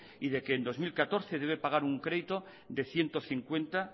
y de que en dos mil catorce debe pagar un crédito de ciento cincuenta